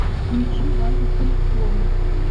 включи мани пинк флойд